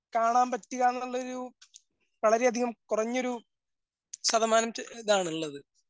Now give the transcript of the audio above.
കാണാൻ പറ്റുകാന്നൊള്ളൊരു വളരെയധികം കുറഞ്ഞൊരു ശതമാനത്തി ഇതാണുള്ളത്.